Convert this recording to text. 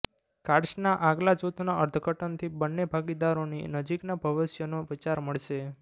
કાર્ડ્સના આગલા જૂથના અર્થઘટનથી બંને ભાગીદારોની નજીકના ભવિષ્યનો વિચાર મળશે